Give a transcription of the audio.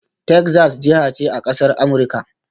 Texas jiha ce a ƙasar Amurika